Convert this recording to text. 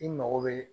I mago bɛ